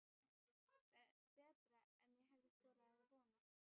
Betra en ég hafði þorað að vona